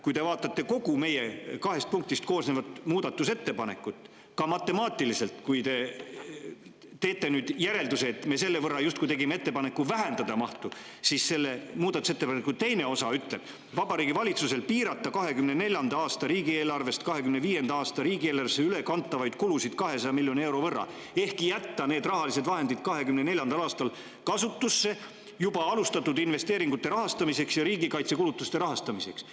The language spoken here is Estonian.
Kui te vaatate kogu meie kahest punktist koosnevat muudatusettepanekut, ka matemaatiliselt, ja teete nüüd järelduse, et me justkui tegime ettepaneku selle võrra vähendada mahtu, siis selle muudatusettepaneku teine osa ütleb: Vabariigi Valitsusel piirata 2024. aasta riigieelarvest 2025. aasta riigieelarvesse ülekantavaid kulusid 200 miljoni euro võrra ehk jätta need rahalised vahendid 2024. aastal kasutusse juba alustatud investeeringute rahastamiseks ja riigikaitsekulutuste rahastamiseks.